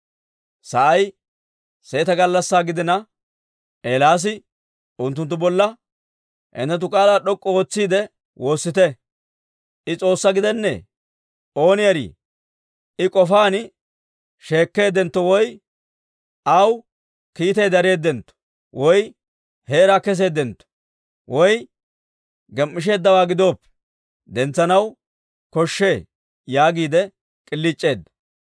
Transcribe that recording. Sa'ay seeta gallassaa gidina, Eelaasi unttunttu bolla, «Hinttenttu k'aalaa d'ok'k'u ootsiide woossite! I s'oossaa gidennee! Ooni erii, I k'ofaan sheekkeeddentto, woy aw kiitay dareeddentto, woy heera keseeddentto, woy gem"isheeddawaa gidooppe dentsanaw koshshee!» yaagiide k'iliic'eedda.